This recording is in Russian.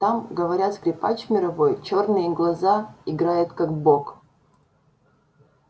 там говорят скрипач мировой чёрные глаза играет как бог